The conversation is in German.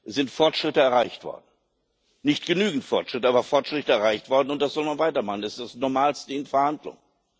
Es sind Fortschritte erreicht worden nicht genügend Fortschritte, aber es sind Fortschritte erreicht worden und das soll man weitermachen. Das ist das Normalste in Verhandlungen.